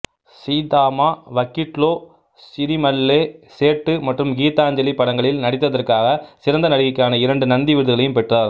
சீதாமா வக்கிட்லோ சிரிமல்லே சேட்டு மற்றும் கீதாஞ்சலி படங்களில் நடித்ததற்காக சிறந்த நடிகைக்கான இரண்டு நந்தி விருதுகளையும் பெற்றார்